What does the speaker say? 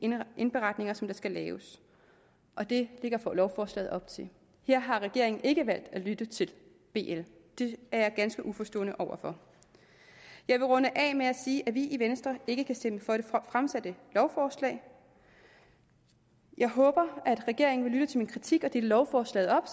indberetninger som der skal laves og det lægger lovforslaget op til her har regeringen ikke valgt at lytte til bl det er jeg ganske uforstående over for jeg vil runde af med at sige at vi i venstre ikke kan stemme for det fremsatte lovforslag jeg håber at regeringen vil lytte til min kritik og dele lovforslaget op